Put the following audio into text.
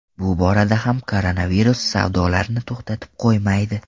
Bu borada ham koronavirus savdolarni to‘xtatib qo‘ymaydi.